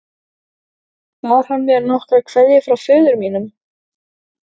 Bar hann mér nokkra kveðju frá föður mínum?